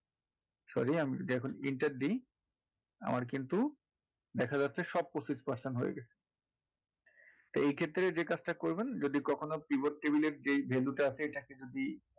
sorry আমি যদি এখন enter দিই আমার কিন্তু দেখা যাচ্ছে সব পঁচিশ percent হয়ে গেছে তো এই ক্ষেত্রে যে কাজটা করবেন যদি কখনো pivot table এর যে value টা আছে এটাকে যদি